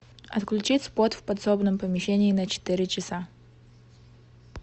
отключить спот в подсобном помещении на четыре часа